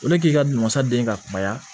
O de k'i ka namasa den ka kumaya